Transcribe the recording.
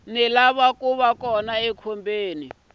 na ku va kona ka